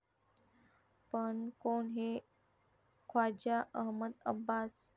पण कोण हे ख्वाजा अहमद अब्बास?